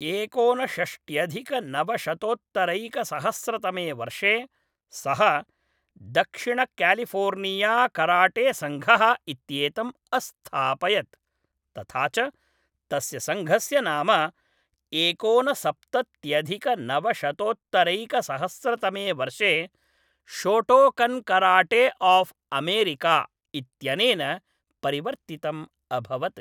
एकोनषष्ट्यधिकनवशतोत्तरैकसहस्रतमे वर्षे सः दक्षिणक्यालिफोर्नियाकराटेसङ्घः इत्येतम् अस्थापयत् तथा च तस्य सङ्घस्य नाम एकोनसप्तत्यधिकनवशतोत्तरैकसहस्रतमे वर्षे शोटोकन्कराटेआफ्अमेरिका इत्यनेन परिवर्तितम् अभवत्।